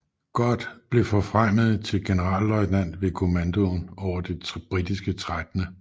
Gott blev forfremmet til generalløjtnant med kommandoen over det britiske 13